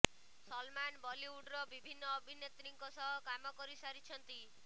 ସଲମାନ ବଲିଉଡର ବିଭିନ୍ନ ଅଭିନେତ୍ରୀଙ୍କ ସହ କାମ କରି ସାରିଛନ୍ତି